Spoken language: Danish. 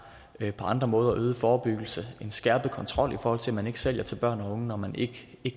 på andre måder øget forebyggelse en skærpet kontrol i forhold til at man ikke sælger til børn og unge når man ikke